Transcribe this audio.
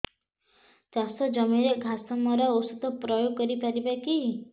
ଚାଷ ଜମିରେ ଘାସ ମରା ଔଷଧ ପ୍ରୟୋଗ କରି ପାରିବା କି